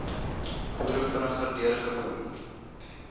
boere vinniger deurgevoer